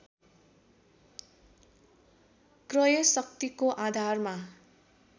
क्रय शक्तिको आधारमा